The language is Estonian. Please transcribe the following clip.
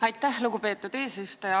Aitäh, lugupeetud eesistuja!